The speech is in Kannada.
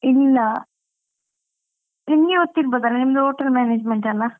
ಇಲ್ಲಾ ನಿಮ್ಗೆ ಗೊತಿರ್ಬೋದಲ್ಲಾ ನಿಮ್ದು hotel management ಅಲ್ಲಾ.